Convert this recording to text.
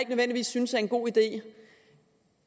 nødvendigvis synes er en god idé